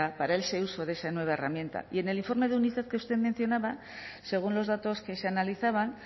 para ese uso de esa nueva herramienta y en el informe de unicef que usted mencionaba según los datos que se analizaban